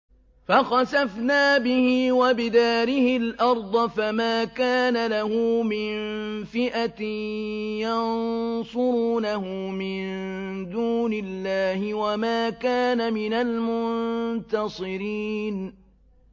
فَخَسَفْنَا بِهِ وَبِدَارِهِ الْأَرْضَ فَمَا كَانَ لَهُ مِن فِئَةٍ يَنصُرُونَهُ مِن دُونِ اللَّهِ وَمَا كَانَ مِنَ الْمُنتَصِرِينَ